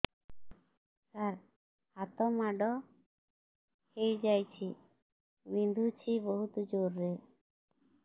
ସାର ହାତ ମାଡ଼ ହେଇଯାଇଛି ବିନ୍ଧୁଛି ବହୁତ ଜୋରରେ